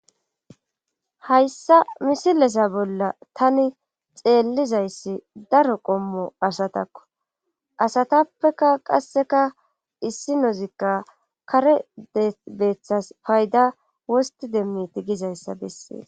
Hayssa misileza bolla tani xeellizayssi daro qommo asatakko asatappeka qasseka issi nozikka kare debeeththas payda wosti demmiti gizayssa bessee.